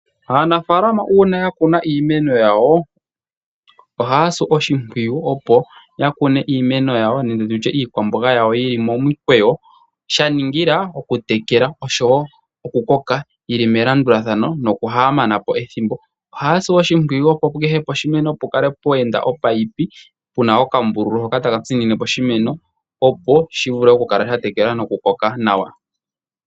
Aanafaalama uuna ya kuna iimeno yawo, ohaya si oshimpwiyu opo ya kune iimeno yawo nenge iikwamboga yawo yili momukweyo, sha ningila oku tekela, oshowo oku koka, yili melandulathano noku ha mana po ethimbo. Ohaya tsu oshimpwiyu opo kehe poshimeno pukale pweenda omunino, guna okambululu hoka taka tsinine poshimeno, opo shi vule oku tekelwa opo shi koke nawa.